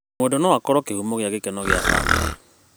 Mwendwa no akorwo kĩhumo gĩa gĩkeno gĩa bamĩrĩ.